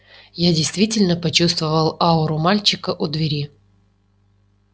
я действительно почувствовал ауру мальчика у двери